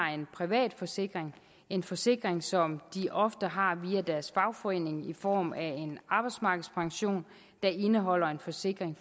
har en privat forsikring det en forsikring som de ofte har via deres fagforening i form af en arbejdsmarkedspension der indeholder en forsikring